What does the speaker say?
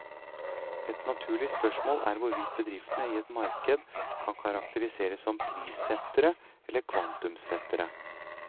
Et naturlig spørsmål er hvorvidt bedriftene i et marked kan karakteriseres som prissettere eller kvantumssettere.